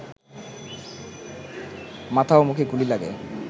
মাথা ও মুখে গুলি লাগে